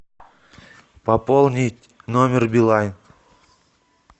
пополнить номер билайн